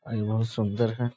आ ई बहुत सुन्दर है।